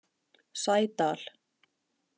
Sædal